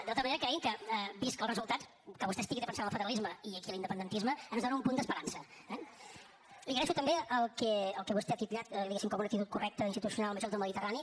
de tota manera cregui’m que vist el resultat que vostè estigui defensant el federalisme i aquí l’independentisme ens dóna un punt d’esperança eh li agraeixo també el que vostè ha titllat diguem ne com una actitud correcta institucional amb els jocs del mediterrani